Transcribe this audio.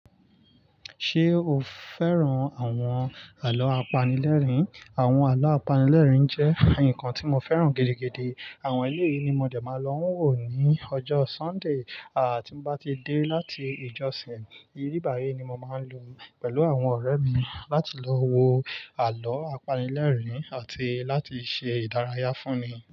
Ṣé o fẹ́ràn àwọn àlọ́ apanilẹ́rìn? Àwọn àlọ́ apanilẹ́rìn jẹ́ nǹkan tí mo fẹ́ràn gidigidi. Àwọn yí yii ni mo de máa lò n wò ní ọjọ́ Sunday tí mo bá ti dé láti ìjọsìn. Ibibayi ni mo máa n lò pẹ̀lú àwọn ọ̀rẹ́ mi láti lọ wo àlọ́ apanilẹ́rìn àti láti ṣe ìdárayá fúnmi.